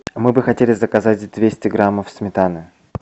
мы бы хотели заказать двести грамм сметаны